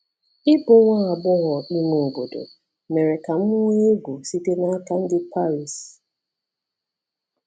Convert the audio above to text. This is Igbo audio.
Ịbụ nwa agbọghọ ime obodo mere ka m nwee egwu site n’aka ndị Paris.